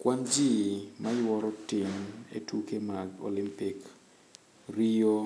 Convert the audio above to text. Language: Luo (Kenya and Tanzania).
Kwan ji mayuoro tin e tuke mag olimpik ,Rio